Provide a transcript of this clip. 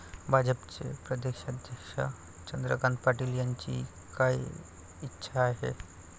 भाजपचे प्रदेशाध्यक्ष चंद्रकांत पाटील यांची काय इच्छा आहे?